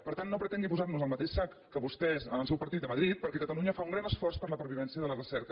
per tant no pretengui posar nos al mateix sac que vostès que el seu partit a madrid perquè catalunya fa un gran esforç per la pervivència de la recerca